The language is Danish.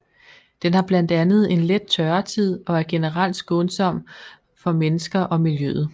Den har blandt andet en let tørretid og er generelt skånsom for mennesker og miljøet